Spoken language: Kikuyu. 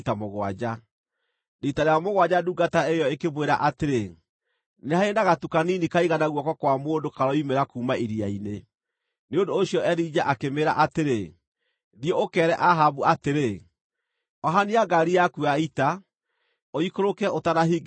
Riita rĩa mũgwanja ndungata ĩyo ĩkĩmwĩra atĩrĩ, “Nĩ harĩ na gatu kanini kaigana guoko kwa mũndũ karoimĩra kuuma iria-inĩ.” Nĩ ũndũ ũcio Elija akĩmĩĩra atĩrĩ, “Thiĩ ũkeere Ahabu atĩrĩ, ‘Ohania ngaari yaku ya ita, ũikũrũke ũtanahingĩrĩrio nĩ mbura.’ ”